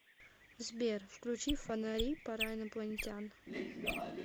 сбер включи фонари пара инопланетян